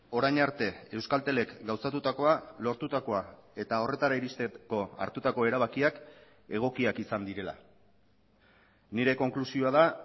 orain arte euskaltelek gauzatutakoa lortutakoa eta horretara iristeko hartutako erabakiak egokiak izan direla nire konklusioa da